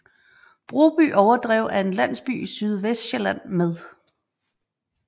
Broby Overdrev er en landsby i Sydvestsjælland med